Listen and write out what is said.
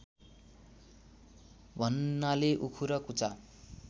भन्नाले उखु र कुचा